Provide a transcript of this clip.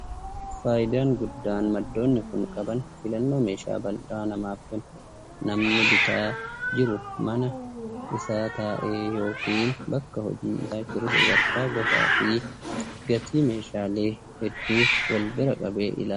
Faayidaa guddaan maddoonni kun qaban filannoo meeshaa bal'aa namaaf kennu. Namni bitaa jiru mana isaa taa'ee yookiin bakka hojii isaa jiru sadarkaa, gosaa fi gatii meeshaalee hedduu walbira qabee ilaala.